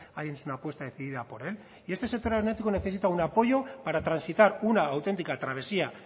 hayan hecho una apuesta decidida por él y este sector aeronáutico necesita un apoyo para transitar una auténtica travesía